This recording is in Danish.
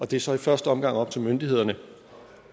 det er så i første omgang op til myndighederne